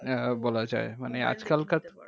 আহ বলা যায় মানে আজকালকার